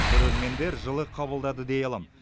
көрермендер жылы қабылдады дей аламын